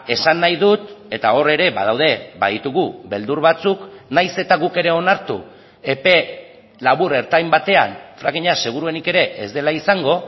esan nahi dut eta hor ere badaude baditugu beldur batzuk nahiz eta guk ere onartu epe labur ertain batean frackinga seguruenik ere ez dela izango